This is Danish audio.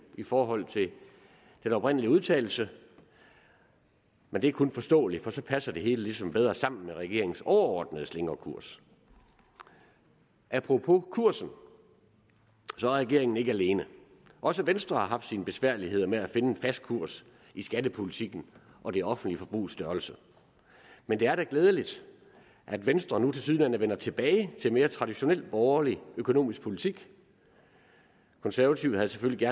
i forhold til den oprindelige udtalelse men det er kun forståeligt for så passer det hele ligesom bedre sammen med regeringens overordnede slingrekurs apropos kursen er regeringen ikke alene også venstre har haft sine besværligheder med at finde en fast kurs i skattepolitikken og det offentlige forbrugs størrelse men det er da glædeligt at venstre nu tilsyneladende vender tilbage til en mere traditionel borgerlig økonomisk politik konservative havde selvfølgelig